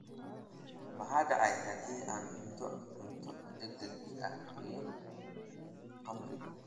Maxaa dhacaya haddii aan cuno cunto degdeg ah iyo khamri?